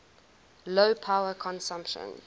low power consumption